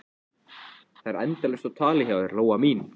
Það er endalaust á tali hjá þér, Lóa mín.